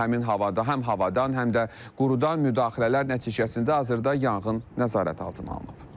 Həmin havada, həm havadan, həm də qurudan müdaxilələr nəticəsində hazırda yanğın nəzarət altına alınıb.